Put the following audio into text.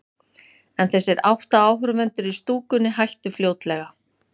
En þessir átta áhorfendur í stúkunni hættu fljótlega.